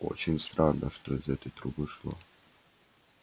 очень странно что из этой трубы шло